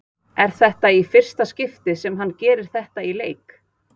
Er þetta í fyrsta skipti sem hann gerir þetta í leik?